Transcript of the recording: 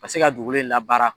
Ka se ka dugulen labaara.